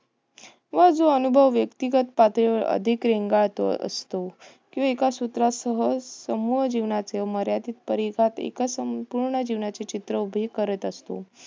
व जो अनुभव व्यक्तिगत पातळीवर अधिक रेंगाळत असतो. किंवा एका सूत्रासह समूळ जीवनाचे मर्यादित परिघात एका संपूर्ण जीवांचे चित्र उभे करत असतो.